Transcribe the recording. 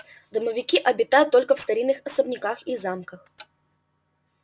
домовики обитают только в старинных особняках и замках